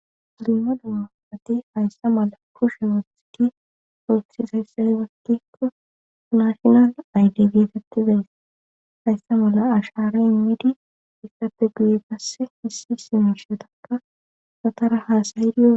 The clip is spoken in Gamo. Irima damma atti hayssa mala kushe asiki ostiisayssa i batikko naashinal ayde geetettizays haysse mala ashare immidi issate guyi gasse hissi simishetakka sotara haasaydioe.